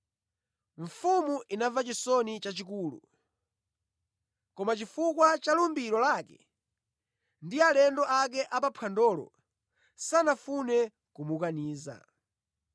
Mfumu inamva chisoni chachikulu, koma chifukwa cha lumbiro lake ndi alendo ake a pa mphwandolo, sanafune kumukaniza.